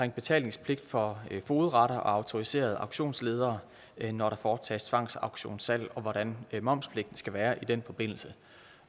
betalingspligt for fogedretter og autoriserede auktionsledere når der foretages tvangsauktionssalg og hvordan momspligten skal være i den forbindelse